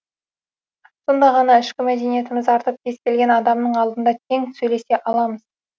сонда ғана ішкі мәдениетіміз артып кез келген адамның алдында тең сөйлесе аламыз